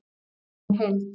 Ákvörðunin í heild